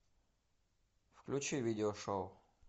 включи видео шоу